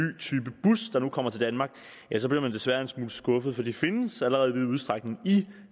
type bus der nu kommer til danmark så bliver man desværre en smule skuffet for de findes allerede i vid udstrækning i